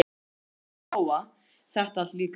Og nú skildi Lóa Lóa þetta allt líka.